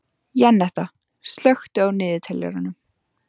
Jenetta, slökktu á niðurteljaranum.